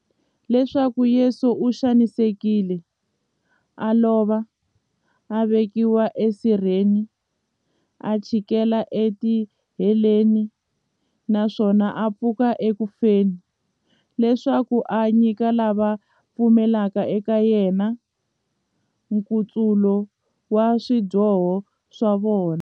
Leswaku Yesu u xanisekile, a lova, a vekiwa e sirheni, a chikela e tiheleni, naswona a pfuka eku feni, leswaku a nyika lava va pfumelaka eka yena, nkutsulo wa swidyoho swa vona.